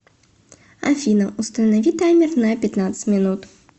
афина установи таймер на пятнадцать минут